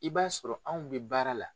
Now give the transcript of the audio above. I b'a sɔrɔ anw bɛ baara la